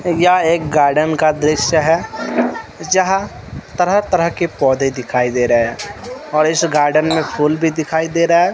यह एक गार्डन का दृश्य है जहां तरह तरह के पौधे दिखाई दे रे है और इस गार्डन में फूल भी दिखाई दे रहा है।